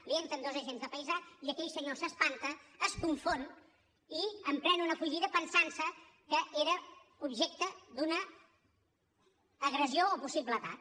li entren dos agents de paisà i aquell senyor s’espanta es confon i emprèn una fugida pensant se que era objecte d’una agressió o possible atac